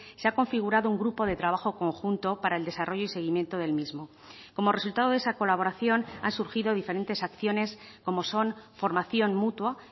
se ha configurado un grupo de trabajo conjunto para el desarrollo y seguimiento del mismo como resultado de esa colaboración ha surgido diferentes acciones como son formación mutua